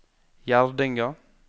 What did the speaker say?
Gjerdinga